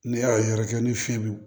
Ne y'a ye yɛrɛ kɛ ni fiɲɛ bi